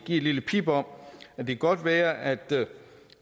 et lille pip om at det godt kan være at